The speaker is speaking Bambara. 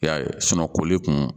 I y'a ye koli kun